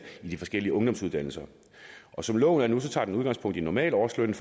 i de forskellige ungdomsuddannelser som loven er nu tager den udgangspunkt i normalårslønnen